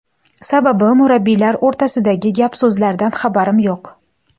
Sababi, murabbiylar o‘rtasidagi gap-so‘zlardan xabarim yo‘q.